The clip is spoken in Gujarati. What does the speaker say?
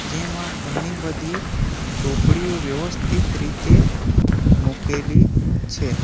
જેમાં ઘણી બધી ચોપડીઓ વ્યવસ્થિત રીતે મૂકેલી છે.